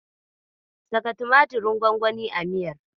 Saka tumatirin gwangwanin a miyar.